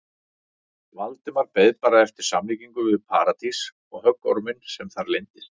Valdimar beið bara eftir samlíkingu við Paradís og höggorminn sem þar leyndist.